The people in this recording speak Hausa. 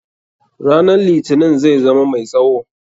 Ranan litinin zai zama mai tsawo.